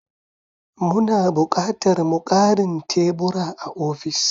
Muna bukatar mu ƙarin tebura a ofis ɗin?